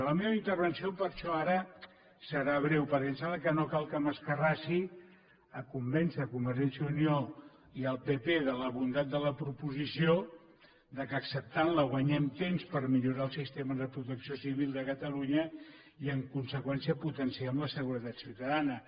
la meva intervenció per això ara serà breu perquè em sembla que no cal que m’escarrassi a convèncer convergència i unió i el pp de la bondat de la proposició que acceptant la guanyem temps per millorar el sistema de protecció civil de catalunya i en conseqüència potenciem la seguretat ciutadana